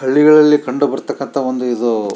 ಹಳ್ಳಿಗಳಲ್ಲಿ ಕಂಡು ಭಾರತಕ್ಕಂಥ ಒಂದು ಇದು.